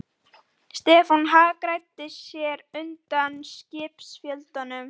Stefán hagræddi sér á undnum skipsfjölunum.